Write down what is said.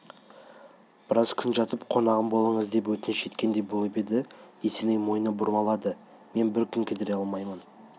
біраз күн жатып қонағым болыңыз деп өтініш еткендей болып еді есеней мойны бұрылмады мен бір күн кідіре алмаймын